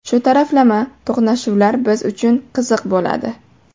Shu taraflama to‘qnashuvlar biz uchun qiziq bo‘ladi.